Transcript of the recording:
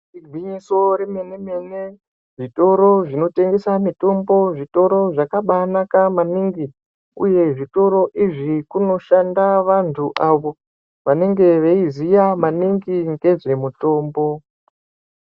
Igwinyiso remene mene zvitoro zvinotengesa mutombo zvitoro zvakabaa naka maningi uye zvitoro izvi kunoshanda vantu avo vanenga veiziya maninhi ngezve mutombo.